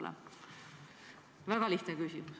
See on väga lihtne küsimus.